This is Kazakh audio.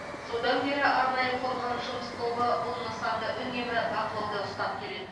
содан бері арнайы құрылған жұмыс тобы бұл нысанды үнемі бақылауда ұстап келеді